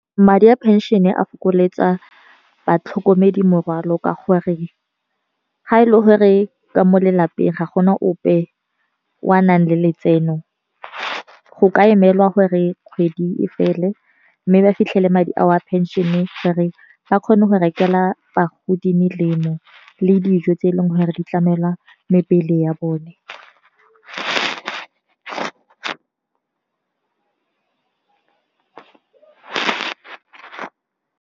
Madi a pension e a fokoletsa batlhokomedi morwalo ka gore, ga e le gore ka mo lelapeng ga gona ope o a nang le letseno. Go ka emelwa gore kgwedi e fela mme ba fitlhele madi a o a pension-e, gore ba kgone go rekelwa go di melemo le dijo tse e leng gore di tlamela mebele ya bone.